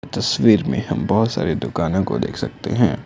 तस्वीर में हम बहुत सारे दुकानों को देख सकते हैं।